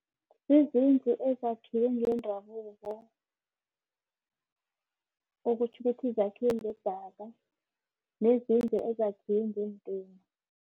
Zizindlu ezakhiwe ngendabuko. Okutjho ukuthi zakhiwe ngedaka, nezindlu ezakhiwe ngeentina.